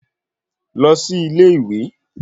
Lọ sí ilé-ìwé